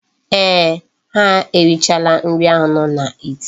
Eeh, ha erichaala nri ahu no n'ite.